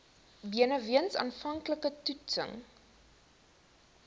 benewens aanvanklike toetsings